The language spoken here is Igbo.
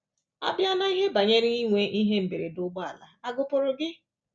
À bịa n’ihe banyere inwe ihe mberede ụgbọala, à gụpụrụ gị?